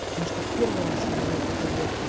потому что первый раз он мне подарил